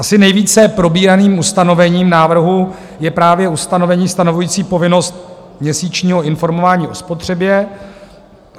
Asi nejvíce probíraným ustanovením návrhu je právě ustanovení stanovující povinnost měsíčního informování o spotřebě.